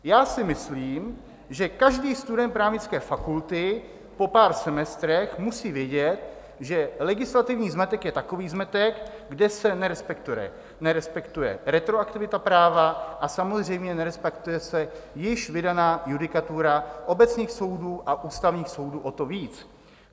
Já si myslím, že každý student právnické fakulty po pár semestrech musí vědět, že legislativní zmetek je takový zmetek, kde se nerespektuje retroaktivita práva a samozřejmě nerespektuje se již vydaná judikatura obecných soudů a ústavních soudů o to víc.